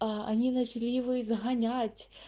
а они начали его изгонять